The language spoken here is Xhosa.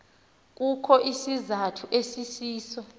kukho isizathu esisiso